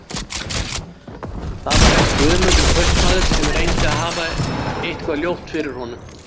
Það var helst Guðmundur kaupmaður sem reyndi að hafa eitthvað ljótt fyrir honum.